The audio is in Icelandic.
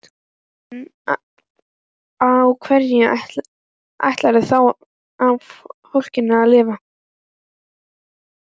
En á hverju ætlarðu þá fólkinu að lifa?